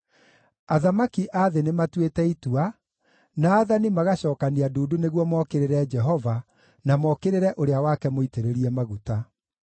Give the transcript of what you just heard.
Athamaki a thĩ nĩmatuĩte itua, na aathani magacookania ndundu nĩguo mookĩrĩre Jehova, na mookĩrĩre Ũrĩa wake Mũitĩrĩrie Maguta.